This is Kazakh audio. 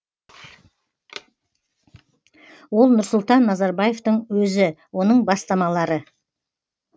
ол нұрсұлтан назарбаевтың өзі оның бастамалары